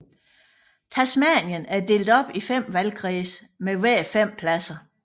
Tasmanien er delt op i fem valgkredse med hver fem pladser